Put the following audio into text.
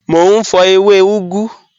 Mọ̀ n fọ̀ ẹwẹ̀ ugù